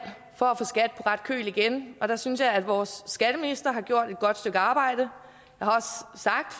for at få skat på ret køl igen og der synes jeg at vores skatteminister har gjort et godt stykke arbejde